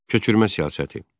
Köçürmə siyasəti.